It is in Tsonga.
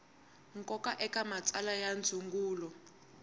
nkoka eka matsalwa ya ndzungulo